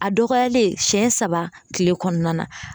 A dɔgɔyalen siyɛn saba kile kɔnɔna na